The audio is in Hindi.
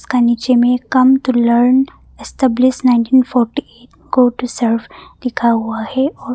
नीचे में come to learn establish nineteen forty eight go to survey लिखा हुआ है।